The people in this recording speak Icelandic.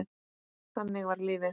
Þannig var lífið.